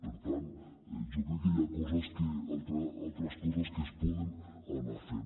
per tant jo crec que hi ha altres coses que es poden anar fent